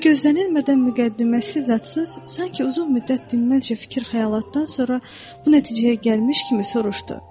Bu gözlənilmədən müqəddiməsiz, zadsız, sanki uzun müddət dinməzce fikir-xəyalatdan sonra bu nəticəyə gəlmiş kimi soruşdu: